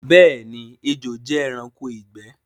Bẹẹni, ẹjò jẹ ẹranko igbẹ̀